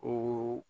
O